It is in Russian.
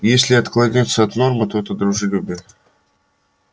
если отклоняться от нормы то это дружелюбие